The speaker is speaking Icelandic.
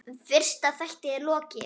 Fyrsta þætti er lokið.